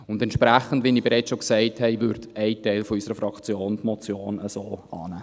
Entsprechend, wie ich bereits gesagt habe, wird ein Teil unserer Fraktion die Motion so annehmen.